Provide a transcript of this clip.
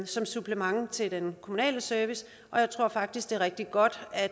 som supplement til den kommunale service og jeg tror faktisk at det er rigtig godt at